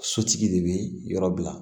Sotigi de bɛ yɔrɔ bila